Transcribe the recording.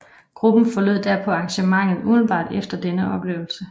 Gruppen forlod derpå arrangementet umiddelbart efter denne oplevelse